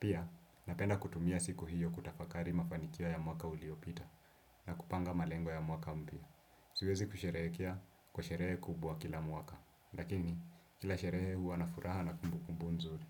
Pia, napenda kutumia siku hiyo kutafakari mafanikio ya mwaka uliyopita na kupanga malengo ya mwaka mpya. Siwezi kusherehekea kwa sherehe kubwa kila mwaka. Lakini, kila sherehe huwana furaha na kumbukumbu nzuri.